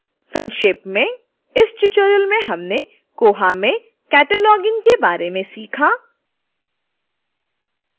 संक्षेप में इस ट्यूटोरियल में हमने koha में cataloging के बारे में सीखा